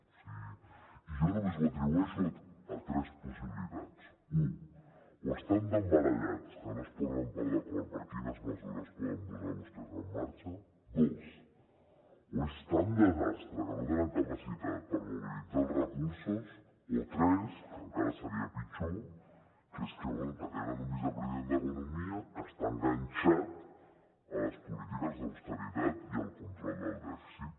o sigui jo només ho atribueixo a tres possibilitats u o estan tan barallats que no es posen pas d’acord per quines mesures poden vostès posar en marxa dos o és tan desastre que no tenen capacitat per mobilitzar els recursos o tres que encara seria pitjor que és que bé que tenen un vicepresident d’economia que està enganxat a les polítiques d’austeritat i al control del dèficit